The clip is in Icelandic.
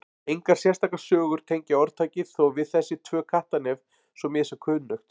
Engar sérstakar sögur tengja orðtakið þó við þessi tvö Kattarnef svo mér sé kunnugt.